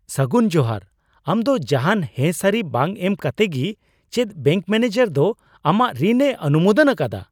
ᱥᱟᱹᱜᱩᱱ ᱡᱚᱦᱟᱨ ! ᱟᱢ ᱫᱚ ᱡᱟᱦᱟᱱ ᱦᱮᱸ ᱥᱟᱹᱨᱤ ᱵᱟᱝ ᱮᱢ ᱠᱟᱛᱮᱫ ᱜᱤ ᱪᱮᱫ ᱵᱮᱝᱠ ᱢᱮᱱᱮᱡᱟᱨ ᱫᱚ ᱟᱢᱟᱜ ᱨᱤᱱᱼᱮ ᱚᱱᱩᱢᱳᱫᱚᱱ ᱟᱠᱟᱫᱟ ?